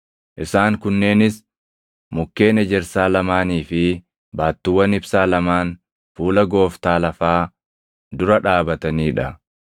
Isaan kunneenis mukkeen ejersaa lamaanii fi baattuuwwan ibsaa lamaan fuula Gooftaa lafaa dura dhaabatanii dha.